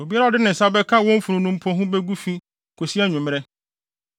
“ ‘Obiara a ɔde ne nsa bɛka wɔn funu no mpo ho begu fi kosi anwummere.